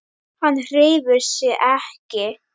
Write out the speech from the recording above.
Hann hreyfir sig ekki.